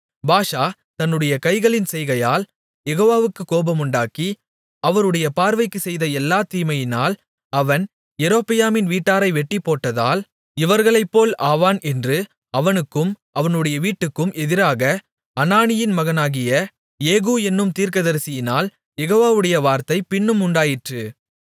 பாஷா தன்னுடைய கைகளின் செய்கையால் யெகோவாவுக்குக் கோபமுண்டாக்கி அவருடைய பார்வைக்குச் செய்த எல்லாத் தீமையினால் அவன் யெரொபெயாமின் வீட்டாரை வெட்டிப்போட்டதால் இவர்களைப்போல் ஆவான் என்று அவனுக்கும் அவனுடைய வீட்டுக்கும் எதிராக அனானியின் மகனாகிய யெகூ என்னும் தீர்க்கதரிசியினால் யெகோவாவுடைய வார்த்தை பின்னும் உண்டாயிற்று